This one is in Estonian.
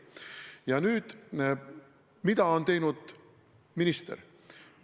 Ja nüüd, mida on teinud minister?